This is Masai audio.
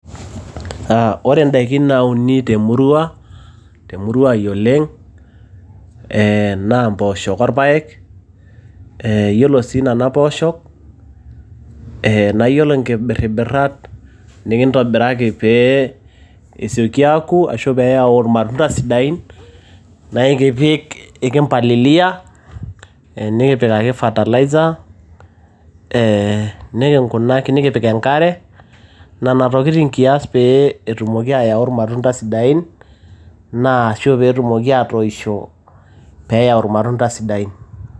Ore indaiki naunu te murua ai oleng' naa impooshok olpaek , naa ore sii inena pooshok, naa iyiolo inkibiribirat nikintobiraki peee esioki aaku ashu pee eyau ilmatunda sidain naa ekimpalilia nikipik ake fertilizer, nikipik enkare inana tokiti kias pee etumoki ayau ilmatunda sidain naa ashu pee etumoki aatoisho pee eyau ilmatunda sidain.